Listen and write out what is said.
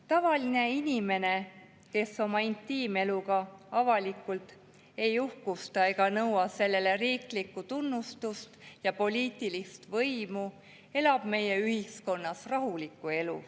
Tavaline inimene, kes oma intiimeluga avalikult ei uhkusta ega nõua sellele riiklikku tunnustust ja poliitilist võimu, elab meie ühiskonnas rahulikku elu.